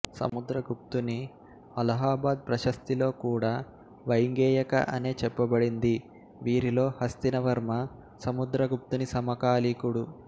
సముద్రగుప్తుని అలహాబాదు ప్రశస్తిలో కూడా వైంగేయక అనే చెప్పబడింది వీరిలో హస్తివర్మ సముద్రగుప్తుని సమకాలికుడు